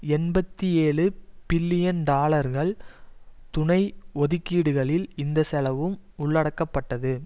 எண்பத்தி ஏழு பில்லியன் டாலர்கள் துணை ஒதுக்கீடுகளில் இந்த செலவும் உள்ளடக்கப்பட்டது